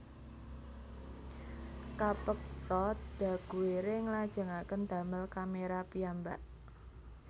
Kapeksa Daguerre nglajengaken damel kaméra piyambak